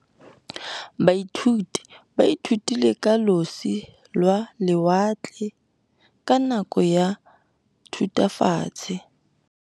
Baithuti ba ithutile ka losi lwa lewatle ka nako ya Thutafatshe.